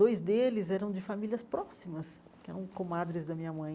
Dois deles eram de famílias próximas, que eram comadres da minha mãe.